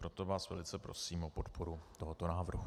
Proto vás velice prosím o podporu tohoto návrhu.